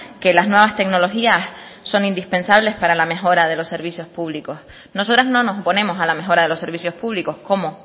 que las nuevas tecnologías son indispensables para la mejora de los servicios públicos nosotras no nos oponemos a la mejora de los servicios públicos cómo